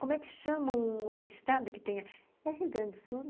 Como é que chama um outro estado que tenha... É Rio Grande do Sul?